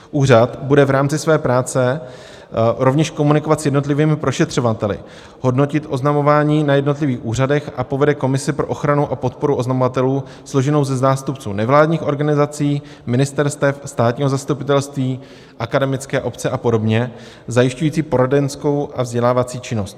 Úřad bude v rámci své práce rovněž komunikovat s jednotlivými prošetřovateli, hodnotit oznamování na jednotlivých úřadech a povede komisi pro ochranu a podporu oznamovatelů složenou ze zástupců nevládních organizací, ministerstev, státního zastupitelství, akademické obce a podobně zajišťující poradenskou a vzdělávací činnost.